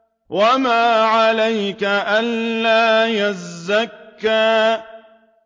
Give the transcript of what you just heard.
وَمَا عَلَيْكَ أَلَّا يَزَّكَّىٰ